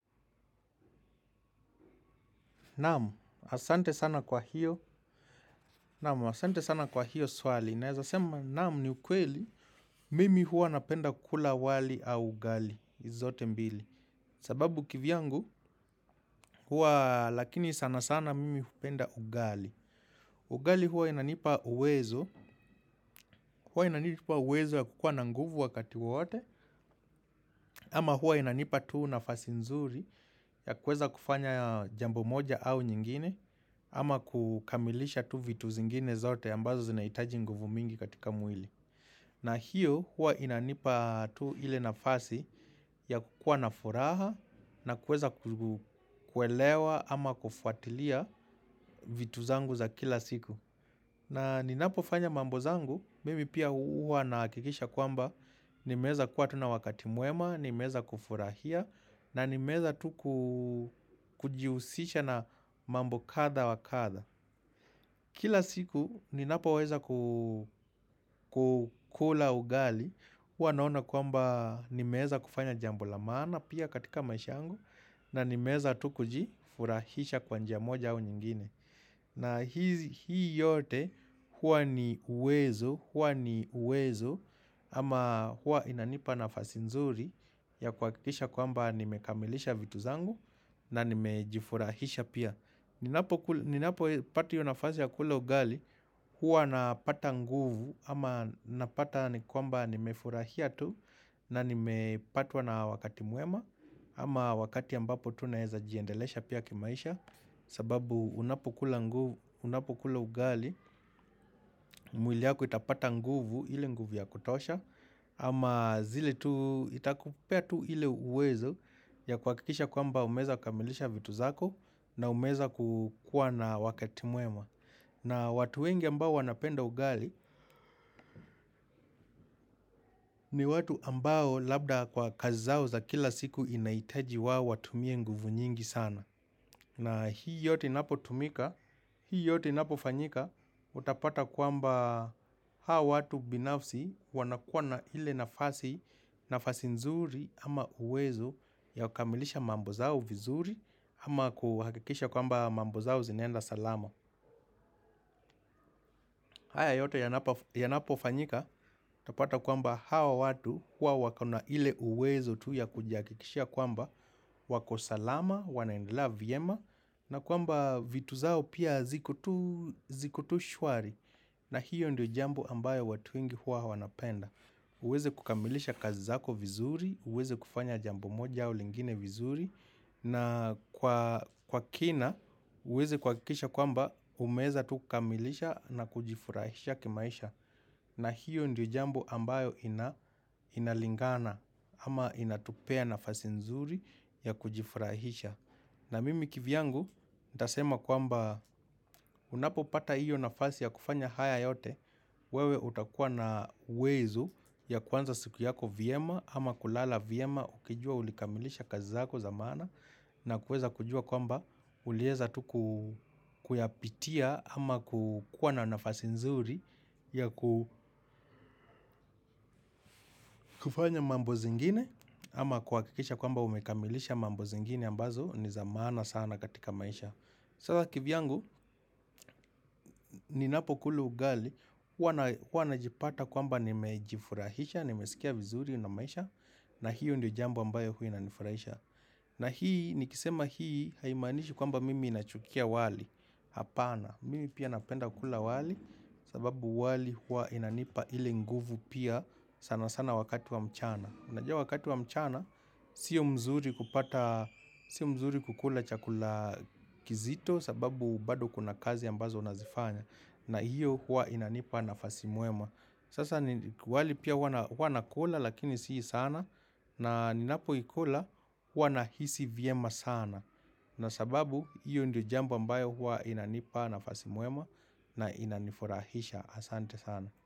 Naamu, asante sana kwa hiyo, naamu, asante sana kwa hiyo swali. Naeza sema, naamu ni ukweli, mimi huwa napenda kukula wali au ugali, hizi zote mbili. Sababu kivyangu, hua lakini sana sana mimi hupenda ugali. Ugali huwa inanipa uwezo, hua inanipa uwezo ya kukuwa na nguvu wakati wowote, ama hua inanipa tu nafasi nzuri ya kueza kufanya jambo moja au nyingine, Ama kukamilisha tu vitu zingine zote ambazo zinaitaji nguvu mingi katika mwili na hiyo huwa inanipa tu ile nafasi ya kukuwa nafuraha na kueza kuelewa ama kufuatilia vitu zangu za kila siku na ninapofanya mambo zangu, mimi pia huwa na akikisha kwamba nimeweza kuwa tuna wakati mwema, nimeeza kufurahia na nimeeza tu kujiusisha na mambo kadha wakadha Kila siku ninapo weza kukula ugali, hua naona kwamba nimeeza kufanya jambo la maana pia katika maisha yangu na nimeeza tu kujifurahisha kwa njia moja au nyingine. Na hii yote hua ni uwezo, hua ni uwezo ama hua inanipa nafasi nzuri ya kuwakikisha kwamba nimekamilisha vitu zangu na nimejifurahisha pia. Ninapo pata hiyo nafasi ya kula ugali huwa napata nguvu ama napata ni kwamba nimefurahia tu na nimepatwa na wakati mwema ama wakati ambapo tunaeza jiendelesha pia kimaisha sababu unapo kula ugali mwili yako itapata nguvu ile nguvu ya kutosha ama zile tu itakupea tu ile uwezo ya kuwakikisha kwamba umeza kukamilisha vitu zako na umeza kukua na wakati mwema. Na watu wengi ambao wanapenda ugali ni watu ambao labda kwa kazi zao za kila siku inaitaji wao watumie nguvu nyingi sana. Na hii yote inapo tumika, hii yote inapo fanyika utapata kwamba hawa watu binafsi wanakuwa na ile nafasi, nafasi nzuri ama uwezo ya kukamilisha mambo zao vizuri ama kuhakikisha kwamba mambo zao zinaenda salama. Haya yoto yanapo fanyika tapata kwamba hawa watu huwa wako na ile uwezo tu yakuji hakikishia kwamba wako salama, wanaendelea viema na kwamba vitu zao pia ziko tu shwari na hiyo ndio jambo ambayo watu wengi huwa wanapenda. Uweze kukamilisha kazi zako vizuri, uweze kufanya jambo moja au lingine vizuri na kwa kina uweze kuwakikisha kwamba umeweza tu kukamilisha na kujifurahisha kimaisha. Na hiyo ndio jambo ambayo inalingana ama inatupea nafasi nzuri ya kujifurahisha. Na mimi kivyangu, nitasema kwamba unapo pata hiyo nafasi ya kufanya haya yote, wewe utakuwa na uwezo ya kuanza siku yako vyema ama kulala vyema ukijua ulikamilisha kazi zako za maana na kueza kujua kwamba ulieza tuku kuyapitia ama kukuwa na nafasi nzuri ya kufanya mambo zingine ama kuakikisha kwamba umekamilisha mambo zingine ambazo ni za maana sana katika maisha. Sasa kivyangu, ninapo kula ugali, hua najipata kwamba nimejifurahisha, nimesikia vizuri na maisha, na hiyo ndio jambo ambayo huwa inanifurahisha. Na hii, nikisema hii haimanishi kwamba mimi nachukia wali, hapana. Mimi pia napenda kukula wali, sababu wali huwa inanipa ile nguvu pia sana sana wakati wa mchana. Unajua wakati wa mchana, siyo mzuri kupata, siyo mzuri kukula chakula kizito sababu bado kuna kazi ambazo unazifanya na hiyo huwa inanipa nafasi mwema. Sasa wali pia hua nakula lakini sii sana na ninapo ikula hua nahisi vyema sana na sababu hiyo ndio jambo ambayo huwa inanipa nafasi mwema na inanifurahisha asante sana.